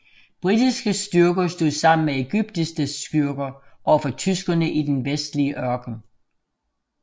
Britiske styrker stod sammen med ægyptiske styrker overfor tyskerne i den vestlige ørken